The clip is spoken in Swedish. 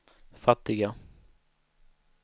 fattiga